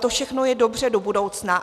To všechno je dobře do budoucna.